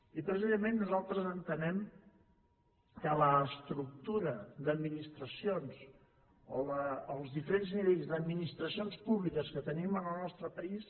i precisament nosaltres entenem que l’estructura d’administracions o els diferents nivells d’administracions públiques que tenim en el nostre país